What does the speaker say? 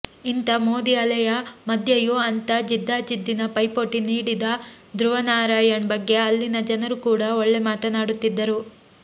ಇಂಥ ಮೋದಿ ಅಲೆಯ ಮಧ್ಯೆಯೂ ಅಂಥ ಜಿದ್ದಾಜಿದ್ದಿನ ಪೈಪೋಟಿ ನೀಡಿದ ಧ್ರುವನಾರಾಯಣ್ ಬಗ್ಗೆ ಅಲ್ಲಿನ ಜನರು ಕೂಡ ಒಳ್ಳೆ ಮಾತನಾಡುತ್ತಿದ್ದರು